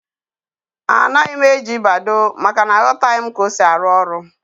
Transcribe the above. Anaghị m eji Badoo, maka na aghotaghi m ka ọ sị arụ ọrụ